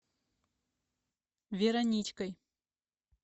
вероничкой